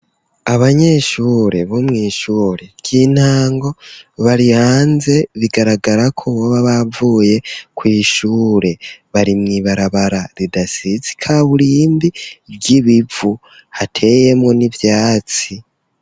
Abanyeshure, bo mw'ishure ry'intango, bari hanze, bigaragara ko, boba bavuye kw'ishure bari mw'ibarabara, ridasize ikaburimbi, ry'ibivu, hateyemwo n'ivyatsi.